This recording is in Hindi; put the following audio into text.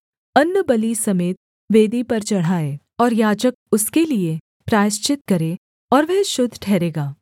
अन्नबलि समेत वेदी पर चढ़ाए और याजक उसके लिये प्रायश्चित करे और वह शुद्ध ठहरेगा